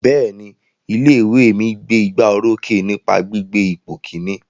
Bẹ́ẹ̀ni, ilé ìwé mi gbé igbá orókè nípa gbígbé ipò Kínní.